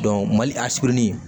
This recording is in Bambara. mali a surunin